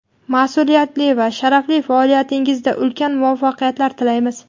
mas’uliyatli va sharafli faoliyatingizda ulkan muvaffaqiyatlar tilaymiz!.